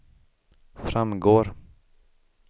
framgår